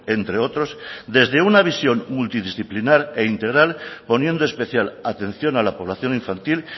entre otros desde una visión multidisciplinar e integral poniendo especial atención a la población infantil